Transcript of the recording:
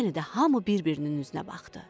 Yenə də hamı bir-birinin üzünə baxdı.